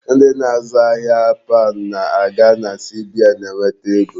Ndị na-azụ ahia paund na-aga na CBN eweta ego.